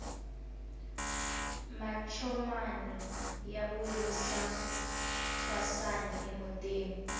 mancomani ya vuyisa thwasani emutini